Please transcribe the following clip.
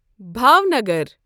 Bhavnagar